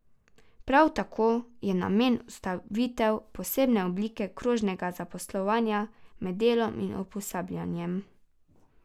Prav tako je namen vzpostavitev posebne oblike krožnega zaposlovanja med delom in usposabljanjem.